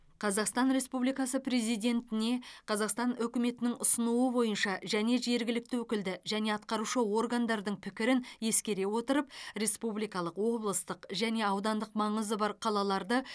қазақстан республикасы президентіне қазақстан үкіметінің ұсынуы бойынша және жергілікті өкілді және атқарушы органдардың пікірін ескере отырып республикалық облыстық және аудандық маңызы бар қалаларды